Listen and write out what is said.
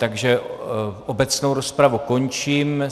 Takže obecnou rozpravu končím.